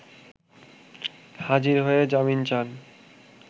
হাজির হয়ে জামিন চান